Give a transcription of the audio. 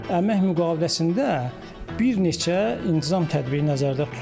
Əmək müqaviləsində bir neçə intizam tədbiri nəzərdə tutulub.